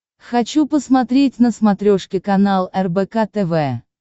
хочу посмотреть на смотрешке канал рбк тв